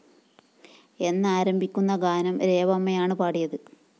എന്നാരംഭിക്കുന്ന ഗാനം രേവമ്മയാണ് പാടിയത്